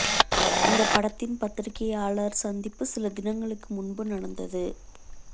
இந்த படத்தின் பத்திரிகையாளர் சந்திப்பு சில தினங்களுக்கு முன்பு நடந்தது